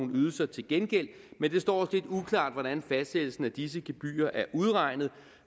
ydelser til gengæld men det står os lidt uklart hvordan fastsættelsen af disse gebyrer er udregnet